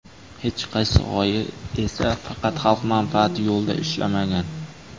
Hech qaysi g‘oya esa faqat xalq manfaati yo‘lida ishlamagan.